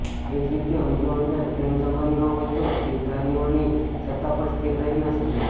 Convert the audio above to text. એ જ રીતે અંદરોઅંદર પ્રેમસંબંધ ન હોય તો જીવધારીઓની સત્તા પણ સ્થિર રહી ન શકે